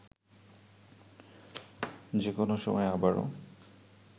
যে কোনো সময় আবারও